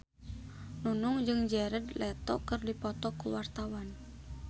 Nunung jeung Jared Leto keur dipoto ku wartawan